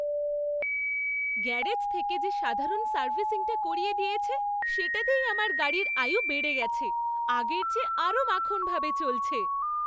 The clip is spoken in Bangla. গ্যারেজ থেকে যে সাধারণ সার্ভিসিংটা করিয়ে দিয়েছে সেটাতেই আমার গাড়ির আয়ু বেড়ে গেছে, আগের চেয়ে আরও মাখনভাবে চলছে।